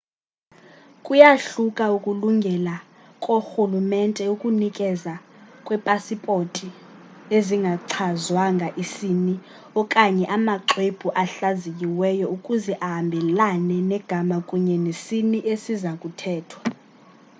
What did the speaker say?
kuyahluka ukulungela koorhulumente ukunikezela ngeepasipothi ezingachazwanga isini x okanye amaxwebhu ahlaziyiweyo ukuze ahambelane negama kunye nesini esiza kukhethwa